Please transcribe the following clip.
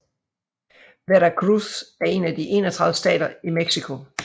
Veracruz er en af de 31 stater i Mexico